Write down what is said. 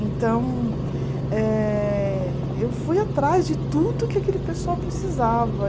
Então, eh eu fui atrás de tudo que aquele pessoal precisava.